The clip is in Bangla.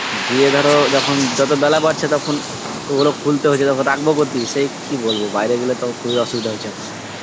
দিয়ে ধর যখন যত বেলা বাড়ছে তখন, ওরো খুলতে হচ্ছে তখন রাখব কোতি সেই কি বলবো বাইরে গেলে খুব এ অসুবিধা হচ্ছে